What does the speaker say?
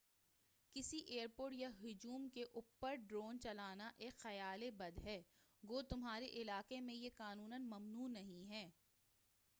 کسی airport یا ہجوم کے اوپر ڈرون چلانا ایک خیالِ بد ہے گو تمہارے علاقہ میں یہ قانوناً ممنوع نہیں ہے